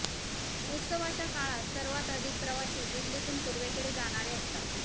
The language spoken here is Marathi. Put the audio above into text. उत्सवाच्या काळात सर्वात अधिक प्रवासी दिल्लीतून पूर्वेकडे जाणारे असतात